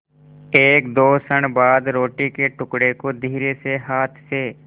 एकदो क्षण बाद रोटी के टुकड़े को धीरेसे हाथ से